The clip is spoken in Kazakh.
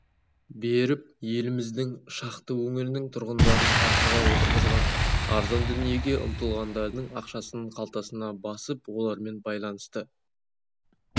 беріп еліміздің шақты өңірінің тұрғындарын тақырға отырғызған арзан дүниеге ұмтылғандардың ақшасын қалтасына басып олармен байланысты